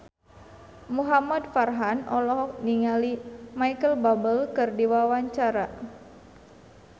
Muhamad Farhan olohok ningali Micheal Bubble keur diwawancara